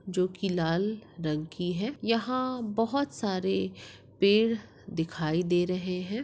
जो की लाल रंग की है यहा बोहत सारे पेड़ दिखाई दे रहे है।